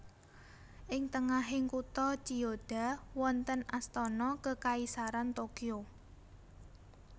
Ing tengahing kutha Chiyoda wonten Astana Kekaisaran Tokyo